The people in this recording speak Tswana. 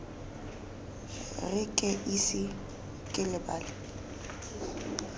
re ke ise ke lebale